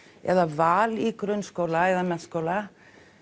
eða val í grunnskóla eða menntaskóla